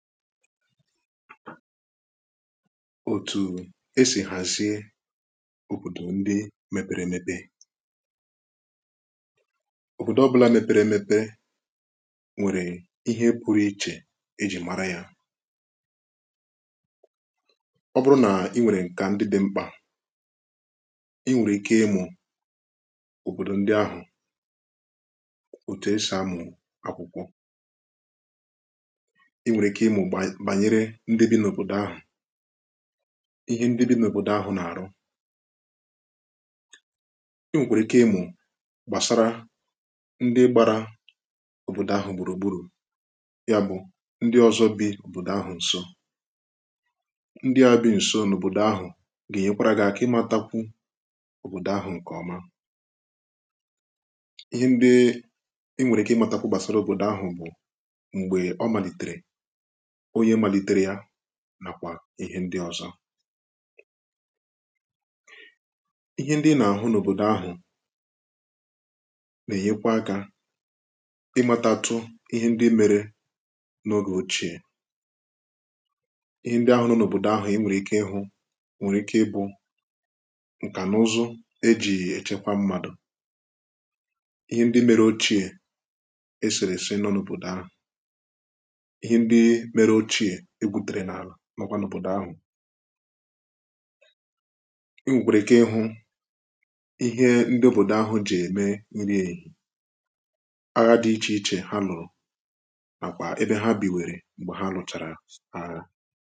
òtù esi hàzie òbòdò ndị mẹpẹrẹ ẹmẹpẹ òbòdò ọbụla mẹpẹrẹ ẹmẹpẹrẹ nwèrè ihe pụrụ ichè e jì mara ya ọ bụrụ na i nwèrè nkà ndị dị mkpà i nwèrè ike ịmụ̇ òbòdò ndị ahụ̀ òtù esi amụ̀ akwụkwọ bànyere ndị nri n’òbòdò ahụ̀ ihẹ ndị bi nà òbòdò ahụ̀ nà-àrụ i nwèkwàrà ike ịmụ̀ gbàsara ndị gbara òbòdò ahụ̀ gbùrùgburù ya bụ̀ ndị ọ̀zọ bi òbòdò ahụ̀ ǹso ndị à bi ǹso n’òbòdò ahụ̀ gà-ènye kwara gà-àkà ịmȧtakwu òbòdò ahụ̀ ǹkè ọma ihe ndị i nwèrè i nwèrè i kà ịmȧtakwu gbàsara òbòdò ahụ̀ bụ̀ m̀gbè ọ màlìtèrè nàkwà ihe ndị ọzọ ihe ndị nà-àhụ n’òbòdò ahụ̀ nà-èyekwa akȧ ịmàtàtụ ihe ndị mẹrẹ n’ogè ochie ihe ndị ahụ̀ n’òbòdò ahụ̀ e nwèrè ike ịhụ nwèrè ike ịbụ̇ ǹkà n’ụzụ eji̇ èchekwa mmadụ̀ ihe ndị mẹrẹ ochie esèrè èsi n’ọnụbụ̀dara mọgwànụ̀ bọ̀dọ̀ ahụ̀ i nwèkwàrà ike ịhụ ihe ndị òbòdò ahụ̀ jì ème nri èhì agha dị̀ ichè ichè ha lụ̀rụ̀ nàkwà ebe ha bìwèrè m̀gbè ha lụ̀chàrà agha